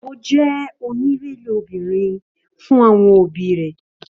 Ó jẹ́ oníìrẹ̀lẹ̀ ọmọbìnrin fún àwọn òbí rẹ̀